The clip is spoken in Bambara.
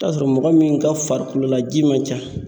Taa sɔrɔ mɔgɔ min ka farikolola ji ma ca.